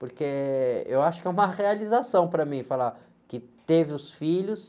Porque eu acho que é uma realização para mim falar que teve os filhos.